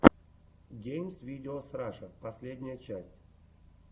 геймс видеос раша последняя часть